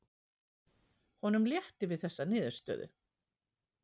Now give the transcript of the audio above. Honum létti við þessa niðurstöðu.